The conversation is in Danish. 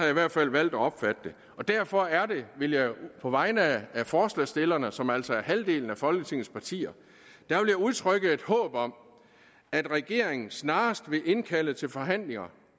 i hvert fald valgt at opfatte det derfor vil jeg på vegne af forslagsstillerne som altså er halvdelen af folketingets partier udtrykke et håb om at regeringen snarest vil indkalde til forhandlinger